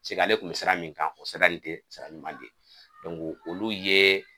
k'ale tun be siran min kan o sira nin te sira ɲuman de, olu ye